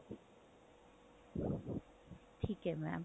ਠੀਕ ਹੈ mam